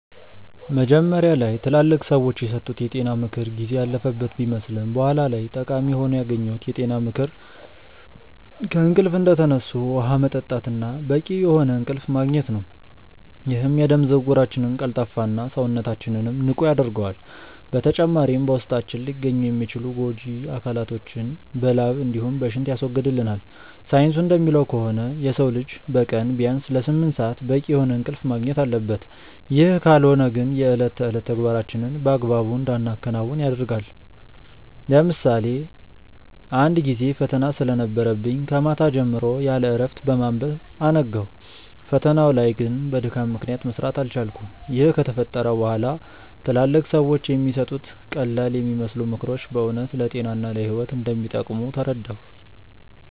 መጀመሪያ ላይ ትላልቅ ሰዎች የሰጡት የጤና ምክር ጊዜ ያለፈበት ቢመስልም በኋላ ላይ ጠቃሚ ሆኖ ያገኘሁት የጤና ምክር ከእንቅልፍ እንደተነሱ ውሃ መጠጣት እና በቂ የሆነ እንቅልፍ ማግኘት ነው፤ ይህም የደም ዝውውራችንን ቀልጣፋ እና፣ ሰውነታችንንም ንቁ ያደርገዋል። በተጨማሪም በውስጣችን ሊገኙ የሚችሉ ጎጂ አካላቶችን በላብ እንዲሁም በሽንት ያስወግድልናል። ሳይንሱ እንደሚለው ከሆነ የሰው ልጅ በቀን ቢያንስ ለስምንት ሰአት በቂ የሆነ እንቅልፍ ማግኘት አለበት፤ ይህ ካልሆነ ግን የእለት ተዕለት ተግባራችንን በአግባቡ እንዳናከናውን ያደርገናል። ለምሳሌ አንድ ጊዜ ፈተና ስለነበረብኝ ከማታ ጀምሮ ያለእረፍት በማንበብ አነጋው። ፈተናው ላይ ግን በድካም ምክንያት መስራት አልቻልኩም። ይህ ከተፈጠረ በኋላ ትላልቅ ሰዎች የሚሰጡት ቀላልየሚመስሉ ምክሮች በእውነት ለጤና እና ለህይወት እንደሚጠቅሙ ተረዳሁ።